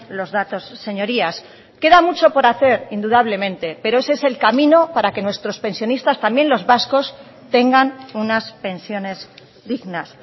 los datos señorías queda mucho por hacer indudablemente pero ese es el camino para que nuestros pensionistas también los vascos tengan unas pensiones dignas